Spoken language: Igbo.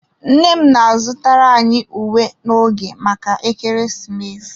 Nne m na-azụtara anyị uwe n'oge maka ekeresimesi.